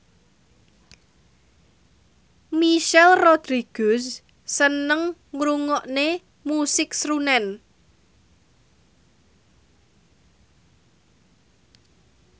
Michelle Rodriguez seneng ngrungokne musik srunen